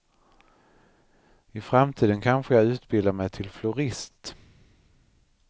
I framtiden kanske jag utbildar mig till florist.